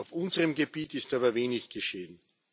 Auf unserem Gebiet ist aber wenig geschehen.